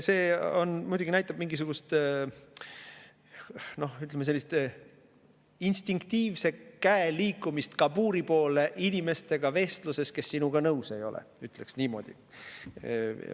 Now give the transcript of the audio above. See muidugi näitab mingisugust, ütleme, instinktiivset käe liikumist kabuuri poole vestluses inimestega, kes sinuga nõus ei ole, ütleksin niimoodi.